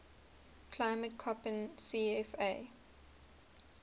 climate koppen cfa